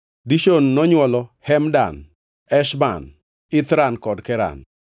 Dishon nonywolo: Hemdan, Eshban, Ithran kod Keran.